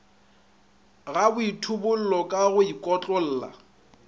ga boithobollo ka go ikotlolla